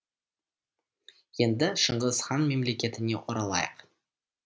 енді шыңғыс хан мемлекетіне оралайық